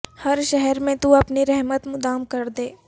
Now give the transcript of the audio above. ہر شہر میں تو اپنی رحمت مدام کر دے